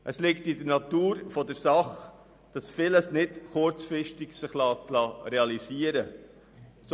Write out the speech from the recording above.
Es liegt in der Natur der Sache, dass sich vieles nicht kurzfristig realisieren lässt.